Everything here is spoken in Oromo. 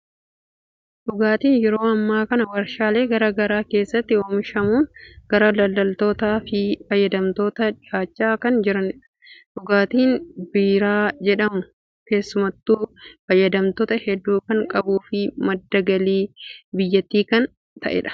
Dhugaatiin yeroo ammaa kana waarshaalee garaa garaa keessatti oomishamuun gara daldaltootaa fi fayyadamtootaatti dhiyaachaa kan jirudha. Dhugaatiin biiraa jedhamu keessumattuu fayyadamtoota hedduu kan qabuu fi madda galii biyyattii kan ta'edha.